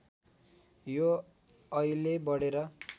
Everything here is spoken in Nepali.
यो अहिले बढेर